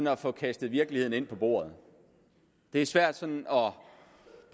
at få kastet virkeligheden på bordet det er svært